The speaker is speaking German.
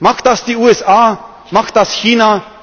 Macht das die USA, macht das